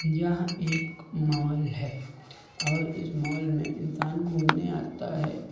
यहां एक मॉल है और इस मॉल में इंसान घूमने आता है।